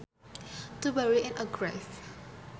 To bury in a grave